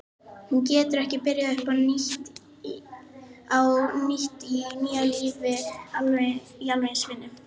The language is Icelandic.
Hún getur ekki byrjað upp á nýtt í sínu nýja lífi í alveg eins vinnu.